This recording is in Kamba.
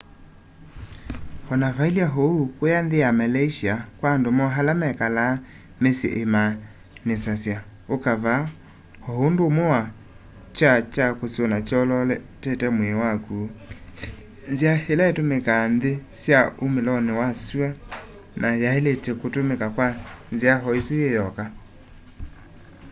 o na vailye uu kũya nthĩ ya malaysĩa kwa andũ moo ala mekalaa mĩsyĩ imaanisasya ũka vaa o ũndũ ũmwe na kyaa kya kũsũna kyolootete mwĩĩ wakũ nzĩa ĩla ĩtũmĩkaa nthĩ sya ũmĩlĩlonĩ wa sũa na yaĩlĩte kũtũmĩka kwa nzĩa oĩsũ yĩ yoka